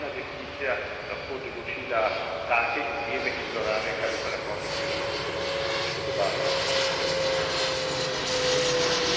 Jasno pa je, da bi preveč ohlapna definicija lahko določila take izjeme in zlorabe, kar bi pa na koncu seveda lahko zelo škodovalo tudi tjuljnom.